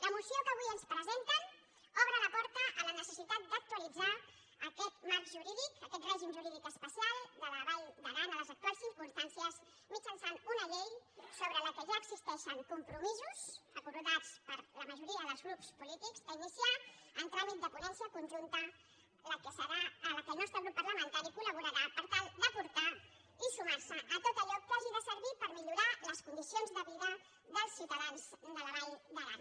la moció que avui ens presenten obre la porta a la necessitat d’actualitzar aquest marc jurídic aquest règim jurídic especial de la vall d’aran a les actuals circumstàncies mitjançant una llei sobre la qual ja existeixen compromisos acordats per la majoria dels grups polítics a iniciar en tràmit de ponència conjunta en què el nostre grup parlamentari coltal d’aportar i sumar se a tot allò que hagi de servir per millorar les condicions de vida dels ciutadans de la vall d’aran